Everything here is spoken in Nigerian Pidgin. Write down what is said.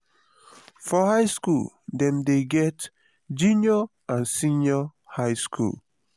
for high school dem get junior and senior high school